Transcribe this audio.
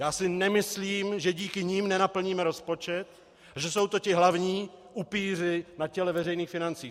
Já si nemyslím, že díky nim nenaplníme rozpočet a že jsou to ti hlavní upíři na těle veřejných financí.